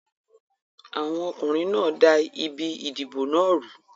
Àwọn ọkùnrin da ibi ìdìbò náà rú.